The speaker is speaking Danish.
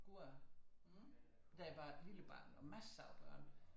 Gårde da jeg var et lille barn og masser af børn